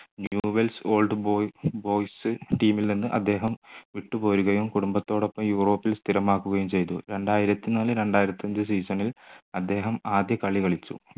new well old boys team ൽ നിന്ന് അദ്ദേഹം വിട്ടുപോരുകയും കുടുംബത്തോടൊപ്പം യൂറോപ്പിൽ സ്ഥിരം ആക്കുകയും ചെയ്തു രണ്ടായിരത്തിനാല് രണ്ടായിരത്തിയഞ്ചു season ൽ അദ്ദേഹം ആദ്യ കളി കളിച്ചു